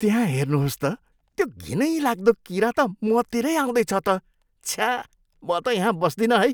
त्यहाँ हेर्नुहोस् त, त्यो घिनैलाग्दो किरा त मतिरै आउँदैछ त। छ्या! म त यहाँ बस्दिनँ है।